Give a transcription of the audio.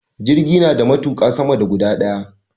Jirgi nada matuƙa sama da guda daya